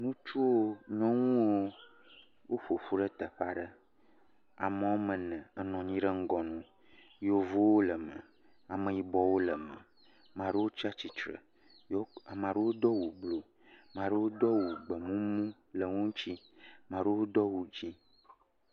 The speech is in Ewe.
Ŋutsuwo, nyɔnuwo woƒoƒu ɖe teƒe aɖe. Ame wɔme ene enɔ anyi ɖe ŋgɔ na wo. Yevuwo le eme, ameyibɔwo le eme. Ame aɖewo tsi atsitre. Ame aɖewo do awu blu, ame aɖewo do awu gbemumu le eŋutsi. Ame aɖewo do awu dzi.